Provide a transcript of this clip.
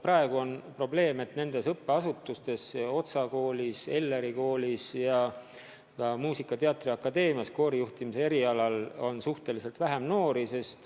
Praegu on tõesti probleem, et asjaomastes õppeasutustes – Otsa koolis, Elleri koolis ja ka Muusika- ja Teatriakadeemias koorijuhtimise erialal – on suhteliselt vähe noori.